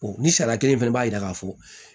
ni sariya kelen fana b'a jira k'a fɔ